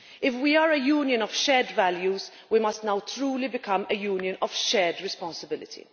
If we are a Union of shared values we must now truly become a Union of shared responsibility.